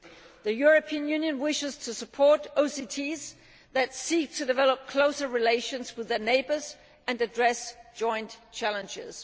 The European Union wishes to support OCTs that seek to develop closer relations with their neighbours and to address joint challenges.